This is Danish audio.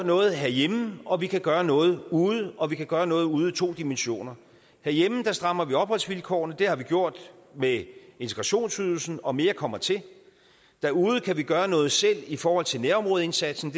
noget herhjemme og vi kan gøre noget ude og vi kan gøre noget ude i to dimensioner herhjemme strammer vi opholdsvilkårene det har vi gjort med integrationsydelsen og mere kommer til derude kan vi gøre noget selv i forhold til nærområdeindsatsen